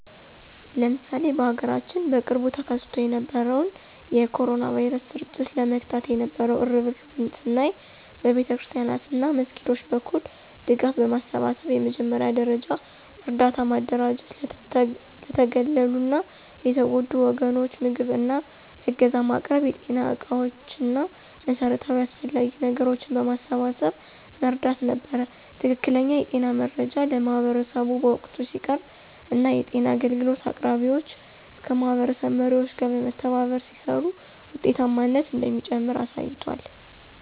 ለምሳሌ በሀገራችን በቅርቡ ተከስቶ የነበረውን የ ኮሮና ቫይረስ ስርጭት ለመግታት የነበው እርብርብን ስናይ በቤተክርስቲያናት እና መስጊዶች በኩል ድጋፍ በማሰባሰብ የመጀመሪያ ደረጃ እርዳታ ማደራጀት ለተገለሉ እና የተጎዱ ወገኖች ምግብ እና ዕገዛ ማቅረብ የጤና ዕቃዎች እና መሠረታዊ አስፈላጊ ነገሮችን በማሰባሰብ መርዳት ነበር። ትክክለኛ የጤና መረጃ ለማህበረሰቡ በወቅቱ ሲቀርብ እና የጤና አገልግሎት አቅራቢዎች ከማህበረሰብ መሪዎች ጋር በመተባበር ሲሰሩ ውጤታማነት እንደሚጨምር አሳይቷል።